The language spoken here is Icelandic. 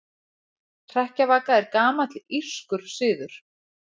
Hrekkjavaka er gamall írskur siður.